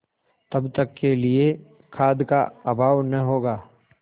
तब तक के लिए खाद्य का अभाव न होगा